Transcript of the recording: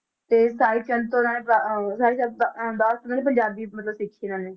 ਤੇ ਸਾਹਿਬ ਚੰਦ ਤੋਂ ਇਹਨਾਂ ਨੇ ਅਹ ਤੋਂ ਇਹਨਾਂ ਨੇ ਪੰਜਾਬੀ ਮਤਲਬ ਸਿੱਖੀ ਇਹਨਾਂ ਨੇ,